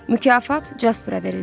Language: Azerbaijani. Mükafat Jaspara verildi.